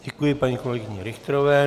Děkuji paní kolegyni Richterové.